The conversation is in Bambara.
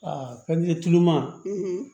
Aa ka di tuloma